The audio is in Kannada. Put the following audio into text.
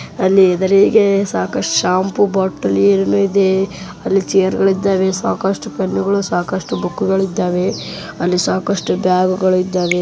ಅಲ್ಲಿ ಹೆದರಿಗೆ ಶಂಪು ಬಾಟೆಲಿ ಇದೆ ಅಲ್ಲಿ ಚೈರ್ ಗಳು ಇದವೆ ಸಾಕಷ್ಟು ಪೆನ್ನುಗಳು ಸಾಕಷ್ಟು ಬುಕ್ಕು ಗಳು ಇದ್ದವೆ ಅಲ್ಲಿ ಸಾಕಷ್ಟು ಬ್ಯಾಗ್ಗ ಳು ಇದವೆ.